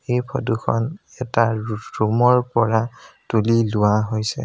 এই ফটো খন এটা ৰুম ৰ পৰা তুলি লোৱা হৈছে।